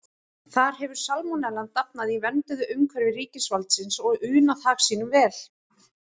Þar hefur salmonellan dafnað í vernduðu umhverfi ríkisvaldsins og unað hag sínum vel.